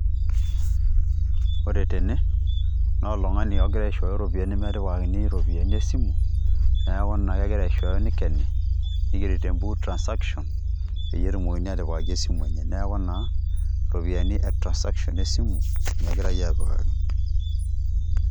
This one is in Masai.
Ore tene naa oltung'ani ogira aishooyo iropiani metipikakini iropiani esimu neeku naa ina pegira aishooyo meikeni nigeri te mbuku transaction, peyie etumokini atipikaki esimu enye. Neeku naa iropiani e transaction esimu nye egirai apikaki.